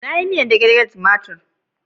Na yi miyan stew jiya da ruwan tomatir.